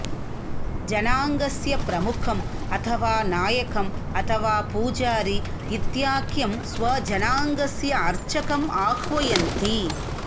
जनाङ्गस्य प्रमुखम् अथवा नायकम् अथवा पूजारी इत्याख्यं स्वजनाङ्गस्य अर्चकम् आह्वयन्ति